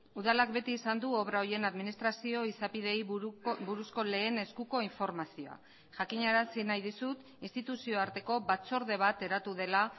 udalak beti izan du obra horien administrazio izapideei buruzko lehen eskuko informazioa jakinarazi nahi dizut instituzio arteko batzorde bat eratu dela